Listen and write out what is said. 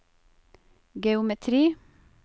geometri